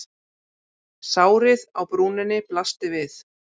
Sárið á brúninni blasti við.